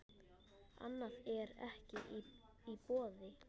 Annað er ekki í boði.